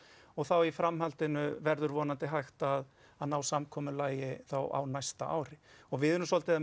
og þá í framhaldinu verður vonandi hægt að að ná samkomulagi þá á næsta ári við erum svolítið að